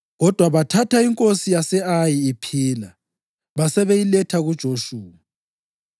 Kodwa bathatha inkosi yase-Ayi iphila basebeyiletha kuJoshuwa.